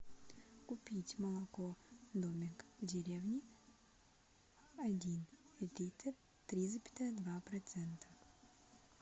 купить молоко домик в деревне один литр три запятая два процента